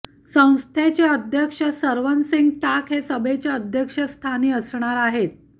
संस्थेचे अध्यक्ष सरवनसिंग टाक हे सभेच्या अध्यक्षस्थानी असणार आहेत